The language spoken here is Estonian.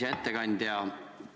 Hea ettekandja!